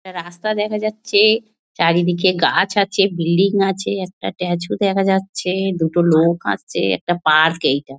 ''রাস্তা দেখা যাচ্ছে চারিদিকে গাছ আছে বিল্ডিং আছে। একটা ''''স্ট্যাচু দেখা যাচ্ছে। দুটো লোক আসছে। একটা পার্ক এইটা।''